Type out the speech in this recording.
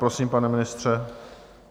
Prosím, pane ministře.